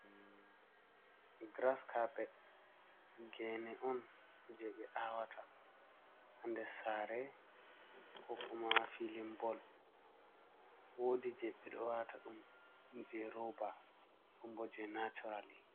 Giras kapet gene on je ɓe awata ha nder sare kokuma filin bol wodi je ɓeɗo wata ɗum je roba ɗon bo je naturali.